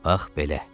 Ax belə.